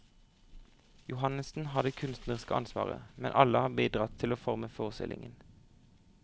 Johannessen har det kunstneriske ansvaret, men alle har bidratt til å forme forestillingen.